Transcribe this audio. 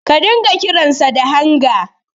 Ka dinga kiransa da Hanga.